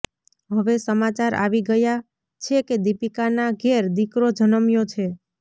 હવે સમાચાર આવી ગયાં છે કે દીપિકાના ઘેર દીકરો જન્મ્યો છે